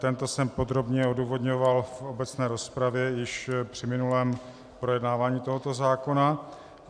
Tento jsem podrobně odůvodňoval v obecné rozpravě již při minulém projednávání tohoto zákona.